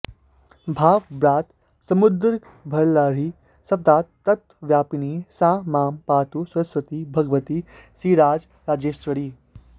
भावव्रात समुद्रगर्भलहरी शब्दार्थतत्त्वव्यापिनी सा मां पातु सरस्वती भगवती श्रीराजराजेश्वरी